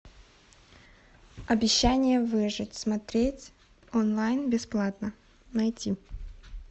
обещание выжить смотреть онлайн бесплатно найти